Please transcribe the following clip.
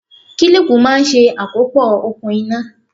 Kílípù máa ń ṣe àkópọ̀ okùn iná.